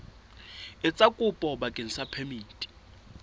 etsa kopo bakeng sa phemiti